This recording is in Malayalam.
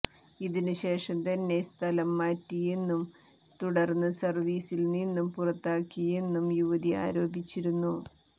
ഇതിന് ശേഷം തന്നെ സ്ഥലം മാററിയെന്നും തുടർന്ന് സർവീസിൽ നിന്നും പുറത്താക്കിയെന്നും യുവതി ആരോപിച്ചിരുന്നു